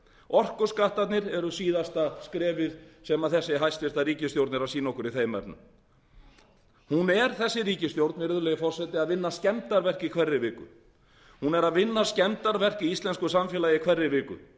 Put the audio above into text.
orkuskattarnir eru síðasta skrefið sem þessi hæstvirt ríkisstjórn er að sýna okkur í þeim efnum hún er þessi ríkisstjórn virðulegi forseti að vinna skemmdarverk í hverri viku hún er að vinna skemmdarverk í íslensku samfélagi í hverri viku